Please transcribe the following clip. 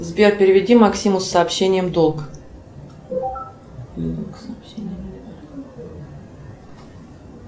сбер переведи максиму с сообщением долг